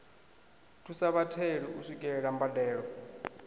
thusa vhatheli u swikelela mbadelo